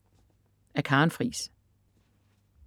Af Karen Friis